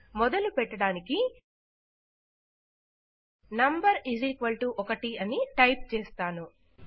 మొదలు పెట్టడానికి నమ్ 1 అని టైప్ చేస్తాను